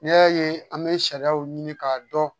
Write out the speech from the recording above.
N'i y'a ye an bɛ sariyaw ɲini k'a dɔn